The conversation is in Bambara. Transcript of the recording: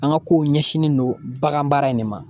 An ka kow ɲɛsinnen don bagan baara in de ma